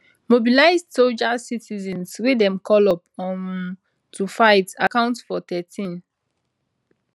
mobilised soldiers citizens wey dem call up um to fight account for 13